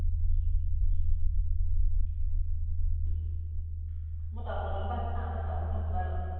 মই তামোল অকন পাইছো, chance ত তামোলকণ চোবাই লওঁ।